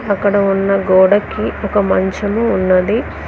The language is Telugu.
అక్కడ ఉన్న గోడకి ఒక మంచము ఉన్నది.